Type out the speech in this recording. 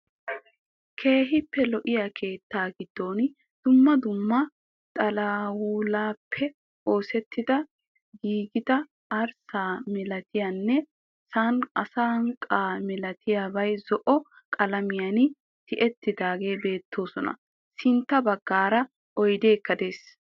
Keehippe lo"iya keettaa giddon dumma dumma xawulaappe oosetti giigida arssa milatiyanne asanqqa milatiyabay zo"o qalamiyan tiyettidaageeti beettoosona. Sintta baggaara oydeekka de'ees.